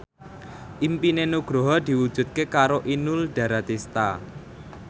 impine Nugroho diwujudke karo Inul Daratista